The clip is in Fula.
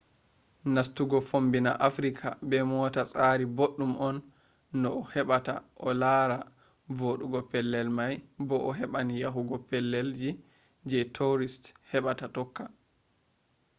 nastugo fommbina africa be mota tsari boɗɗum on no a heɓata a lara voɗugo pellel mai bo a heɓan yahugo pellel ji je tourist heɓata tokka